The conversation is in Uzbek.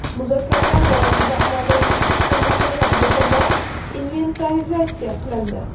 Muzokaralar davomida amaldagi ikki tomonlama bitimlar inventarizatsiya qilindi.